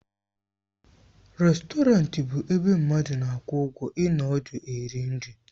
Rèstọrantị bụ ebe mmadụ na-akwụ ụgwọ ịnọ ọdụ eri nri.